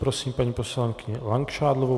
Prosím paní poslankyni Langšádlovou.